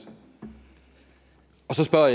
har